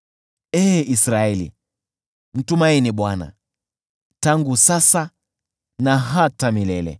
Ee Israeli, mtumaini Bwana tangu sasa na hata milele.